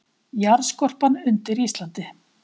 Jarðskorpan undir Íslandi